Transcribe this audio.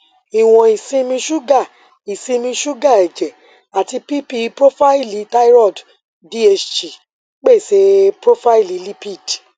iwọn isinmi suga isinmi suga ẹjẹ ati pp profaili thyroid dht pese profaili lipid